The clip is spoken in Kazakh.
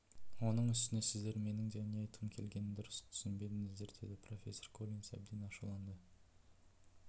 оның үстіне сіздер менің не айтқым келгенін дұрыс түсінбедіңіздер деді профессор коллинс әбден ашуланды